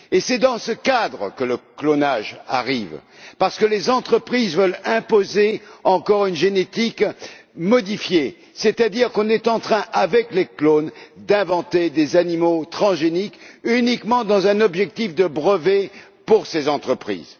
Et c'est dans ce cadre que le clonage arrive, parce que les entreprises veulent imposer encore une génétique modifiée, c'est à dire qu'on est en train d'inventer, avec les clones, des animaux transgéniques uniquement dans un objectif de brevets pour ces entreprises.